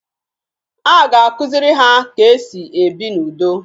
A ga-akụziri ha ka e si ebi n'udo